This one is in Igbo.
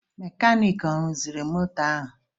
Mekaniiki ọ rụziri mọtọ ahụ?